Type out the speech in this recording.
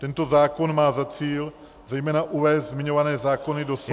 Tento zákon má za cíl zejména uvést zmiňované zákony do souladu.